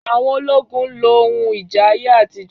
Àwọn ológun n lo ohun ìjà ayé àtijọ́